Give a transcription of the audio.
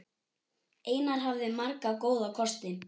Einar hafði marga góða kosti.